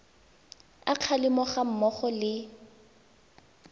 a kgalemo ga mmogo le